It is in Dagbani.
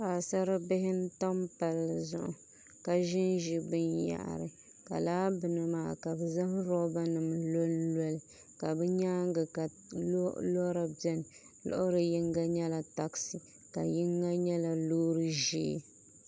Paɣasaribihi n tam palli zuɣu ka ʒinʒi binyahari ka laa bini maa ka bi zaŋ roba nim lonloli ka bi nyaanga ka loori biɛni loori yinga nyɛla taksi ka yinga nyɛla loori ʒiɛ